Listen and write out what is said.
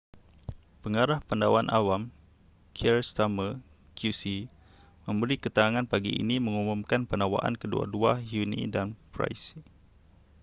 pengarah pendakwaan awam keir starmer qc memberi keterangan pagi ini mengumumkan pendakwaan kedua-dua huhne dan pryce